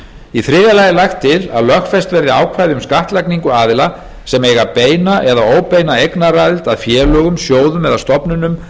í þriðja lagi er lagt til að lögfest verði ákvæði um skattlagningu aðila sem eiga beina eða óbeina eignaraðild að félögum sjóðum eða stofnunum